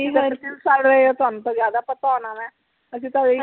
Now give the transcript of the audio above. ਕਿ ਕਰ ਰਹੇ ਤੁਹਾਨੂੰ ਤਾ ਜਿਆਦਾ ਪਤਾ ਹੋਣਾ ਵਾ ਅਸੀਂ ਤਾ